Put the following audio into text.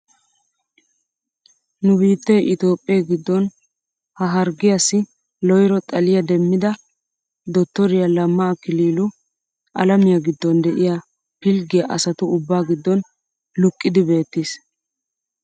Nu biittee itoophphee giddon ha harggiyaasi loyro xaliyaa demmida dottoriyaa lamma akililu alamiyaa giddon de'iyaa pilggiyaa asatu ubbaa giddon luqqidi beettiis!